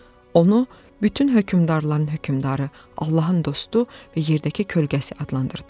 Onu bütün hökmdarların hökmdarı, Allahın dostu və yerdəki kölgəsi adlandırdım.